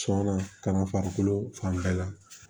Sɔnna kana farikolo fan bɛɛ la